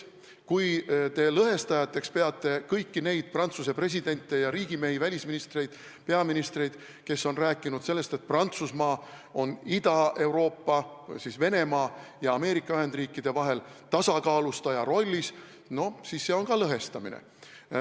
Kui te peate lõhestajateks kõiki neid Prantsuse presidente ja riigimehi, välisministreid, peaministreid, kes on rääkinud sellest, et Prantsusmaa on Ida-Euroopa või siis Venemaa ja Ameerika Ühendriikide vahel tasakaalustaja rollis, siis see on ka lõhestamine.